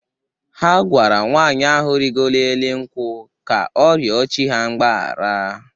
Ha gwara nwaanyị ahụ rịgoro elu nkwụ ka ọ rịọ chi ha mgbahara.